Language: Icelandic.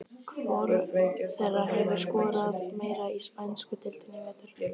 Hvor þeirra hefur skorað meira í spænsku deildinni í vetur?